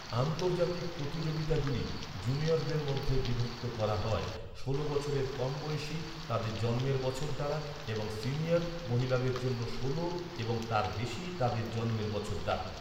আন্তর্জাতিক প্রতিযোগিতাগুলি জুনিয়রদের মধ্যে বিভক্ত করা হয়, ষোল বছরের কম বয়সী তাদের জন্মের বছর দ্বারা; এবং সিনিয়র, মহিলাদের জন্য ষোল এবং তার বেশি তাদের জন্মের বছর দ্বারা।